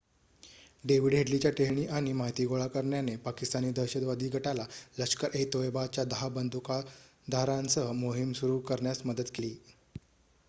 David हेडलीच्या टेहळणी आणि माहिती गोळा करण्याने पाकिस्तानी दहशतवादी गटाला लष्कर-ए-तोयबाच्या १० बंदूकधाऱ्यांसह मोहीम सुरू करण्यात मदत केली